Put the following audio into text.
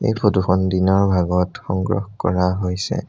এই ফটো খন দিনৰ ভাগত সংগ্ৰহ কৰা হৈছে।